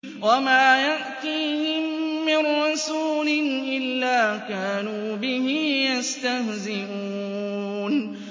وَمَا يَأْتِيهِم مِّن رَّسُولٍ إِلَّا كَانُوا بِهِ يَسْتَهْزِئُونَ